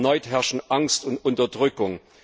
Erneut herrschen Angst und Unterdrückung.